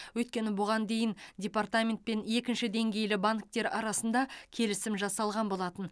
өйткені бұған дейін департамент пен екінші деңгейлі банктер арасында келісім жасалған болатын